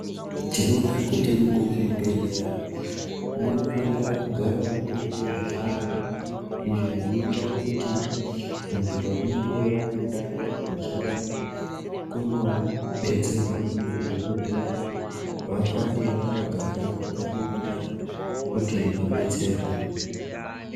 Tinoona kuti muzvibhehleya munofanira kugarawo muine zvihlayo, izvo zvinoita kuti vantu vanenge vaendayo vachida kunobetserwa ngemadhokodheya, vafane vakagara vakamirira kuti vabetserwe.